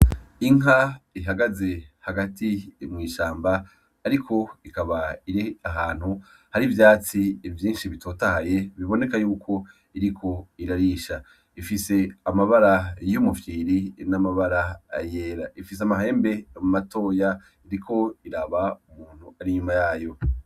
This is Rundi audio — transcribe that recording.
Inka ihagaze hagati mwishamba, ariko ikaba iri ahantu hari ivyatsi vyinshi bitotahaye biboneka yuko iriko irarisha ifise amabara y’umufyiri n'amabara ayera ifise amahembe matoya iriko iraba umuntu ari nyuma yayo.